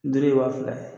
Duuru ye waa fila ye